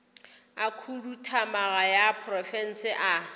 a khuduthamaga ya profense a